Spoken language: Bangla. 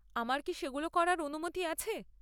আমার কি সেগুলো করার অনুমতি আছে?